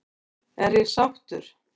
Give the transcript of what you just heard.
Er ég sáttur?